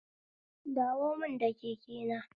Dawo mun da kekena